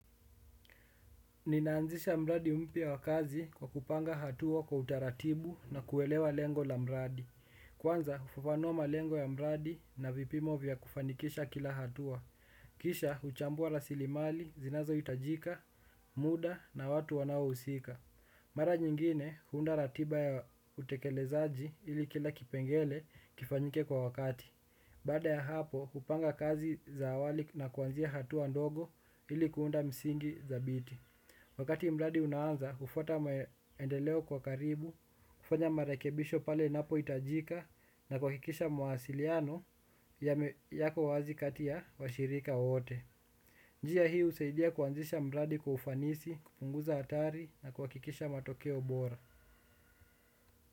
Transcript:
Ninaanzisha mradi umpya wa kazi kwa kupanga hatua kwa utaratibu na kuelewa lengo la mradi. Kwanza, hufafanua malengo ya mradi na vipimo vya kufanikisha kila hatua. Kisha, huchambua rasili mali, zinazo hitajika, muda na watu wanao husika. Mara nyingine, huunda ratiba ya utekelezaji ili kila kipengele kifanyike kwa wakati. Bada ya hapo, hupanga kazi za awali na kuanzia hatua ndogo ili kuunda msingi za biti. Wakati mradi unaanza, hufuata maendeleo kwa karibu, kufanya marekebisho pale napo hitajika na kuhakikisha mawasiliano yako wazi kati ya wa shirika wote. Njia hii, husaidia kuanzisha mradi kwa ufanisi, kupunguza hatari na kuhakikisha matokeo bora.